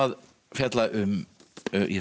fjalla um ég